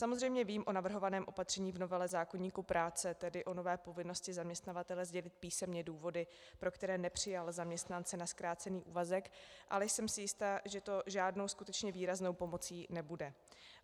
Samozřejmě vím o navrhovaném opatření v novele zákoníku práce, tedy o nové povinnosti zaměstnavatele sdělit písemně důvody, pro které nepřijal zaměstnance na zkrácený úvazek, ale jsem si jista, že to žádnou skutečně výraznou pomocí nebude.